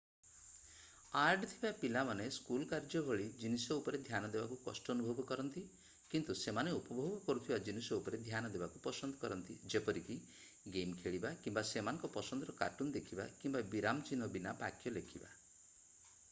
add ଥିବା ପିଲାମାନେ school କାର୍ଯ୍ୟ ଭଳି ଜିନିଷ ଉପରେ ଧ୍ୟାନ ଦେବାକୁ କଷ୍ଟ ଅନୁଭବ କରନ୍ତି କିନ୍ତୁ ସେମାନେ ଉପଭୋଗ କରୁଥିବା ଜିନିଷ ଉପରେ ଧ୍ୟାନ ଦେବାକୁ ପସନ୍ଦ କରନ୍ତି ଯେପରିକି ଗେମ ଖେଳିବା କିମ୍ବା ସେମାନଙ୍କ ପସନ୍ଦର କାର୍ଟୁନ ଦେଖିବା କିମ୍ବା ବିରାମ ଚିହ୍ନ ବୀନା ବାକ୍ୟ ଲେଖିବା